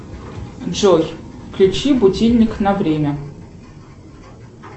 джой включи будильник на время